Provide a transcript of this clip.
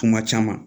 Kuma caman